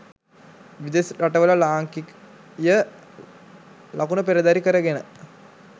විදෙස් රට වල ලාංකීය ලකුණ පෙරදැරි කරගෙන